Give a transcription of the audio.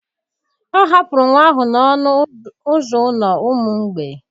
Ọ hapụrụ nwa ahụ n'ọnụ ụzọ ụlọ ụmụ mgbei